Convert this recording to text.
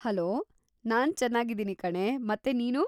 Hello, ನಾನ್‌ ಚನ್ನಾಗಿದ್ದೀನಿ ಕಣೇ, ಮತ್ತೆ ನೀನು?